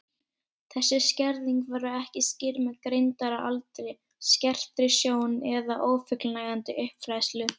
Þessi skerðing verður ekki skýrð með greindaraldri, skertri sjón eða ófullnægjandi uppfræðslu.